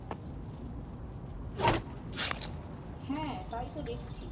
হ্যাঁ তাই তো দেখছি।